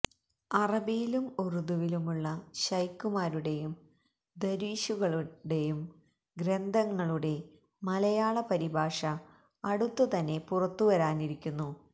അറബിയിലും ഉര്ദുവിലുമുള്ള ശൈഖ്മാരുടെയും ദര്വീശുകളുടെയും ഗ്രന്ഥങ്ങളുടെ മലയാള പരിഭാഷ അടുത്തുതന്നെ പുറത്തുവരാനിരിക്കുന്നു